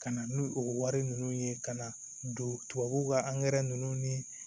Ka na n'o o wari ninnu ye ka na don tubabuw ka ninnu ni